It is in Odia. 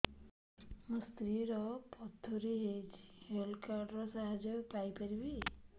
ମୋ ସ୍ତ୍ରୀ ର ପଥୁରୀ ହେଇଚି ହେଲ୍ଥ କାର୍ଡ ର ସାହାଯ୍ୟ ପାଇପାରିବି